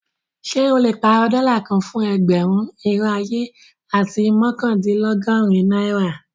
Ṣẹ o le pàárọ̀ dóla kàn fún ẹgbérùn, irò ayé, àti mọkandìnlọ́gọ̀rin naira?